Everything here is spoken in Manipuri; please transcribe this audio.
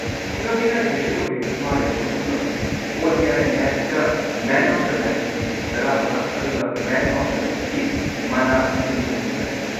ꯉꯛꯅꯤꯉꯥꯏ ꯀꯩꯁꯨ ꯑꯣꯏꯗꯦ ꯃꯥ ꯔꯦꯀꯣꯔꯗ ꯑꯃ ꯉꯝꯃꯤꯁꯦ; ꯑꯣ.ꯗꯤ.ꯑꯥꯏ. ꯃꯦꯆꯇ ꯃꯦꯟ ꯑꯣꯐ ꯗ ꯁꯤꯔꯤꯁ ꯱꯵ ꯑꯗꯨꯒꯃꯦꯟ ꯑꯣꯐ ꯗ ꯃꯦꯆ ꯁꯤꯔꯤꯁ ꯃꯅꯥ ꯶꯲꯫